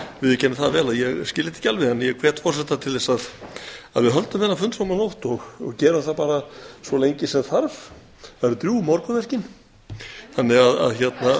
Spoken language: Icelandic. viðurkenni það vel að ég skil þetta ekki alveg þannig að ég hvet forseta til þess að við höldum þennan fund fram á nótt og gerum það bara svo lengi sem þarf það eru drjúg morgunverkin þannig að